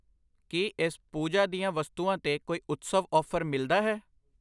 ਕਿ ਇਸ ਪੂਜਾ ਦੀਆਂ ਵਸਤੂਆਂ ਤੇ ਕੋਈ ਉਤਸਵ ਆਫ਼ਰ ਮਿਲਦਾ ਹੈ ?